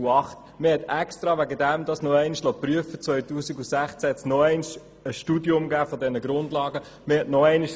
Deshalb wurde eine erneute Prüfung vorgenommen, und im Jahr 2016 wurde nochmals eine Studie der Grundlagen durchgeführt.